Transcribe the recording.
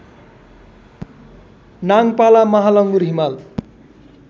Nangpala Mahalangur Himal